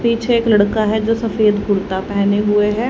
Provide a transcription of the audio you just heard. पीछे एक लड़का है जो सफेद कुर्ता पहने हुए है।